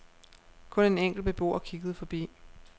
Kun en enkelt beboer kiggede forbi.